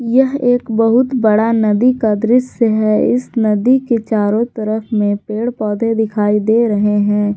यह एक बहुत बड़ा नदी का दृश्य है इस नदी के चारों तरफ में पेड़ पौधे दिखाई दे रहे हैं।